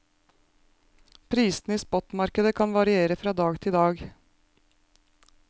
Prisene i spotmarkedet kan variere fra dag til dag.